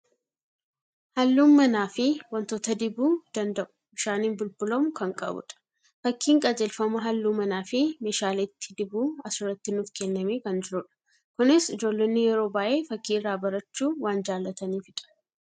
Halluun manaa fi waantota dibuu danda'u, bishaaniin bulbulamuu kan qabudha. Fakkiin qajeelfama halluu manaa fi meeshaaleetti dibuu as irratti nuuf kennamee kan jirudha. Kunis ijoollonni yeroo baay'ee fakkii irraa barachuu waan jaalataniifidha.